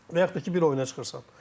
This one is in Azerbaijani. Və yaxud da ki, bir oyuna çıxırsan.